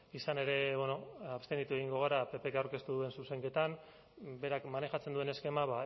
izan ere abstenitu egingo gara ppk aurkeztu duen zuzenketan berak manejatzen duen eskema